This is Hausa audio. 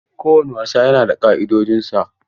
Kowane wasa yana da ka'idojinsa.